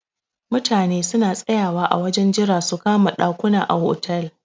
Mutane suna tsayawa a wajen jira su kama ɗakuna a hotel.